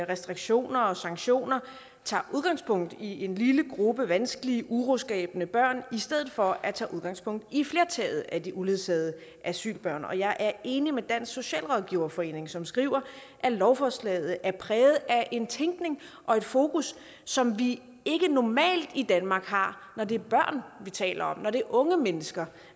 restriktioner og sanktioner tager udgangspunkt i en lille gruppe vanskelige uroskabende børn i stedet for at tage udgangspunkt i flertallet af de uledsagede asylbørn og jeg er enig med dansk socialrådgiverforening som skriver at lovforslaget er præget af en tænkning og et fokus som vi ikke normalt i danmark har når det er børn vi taler om når det er unge mennesker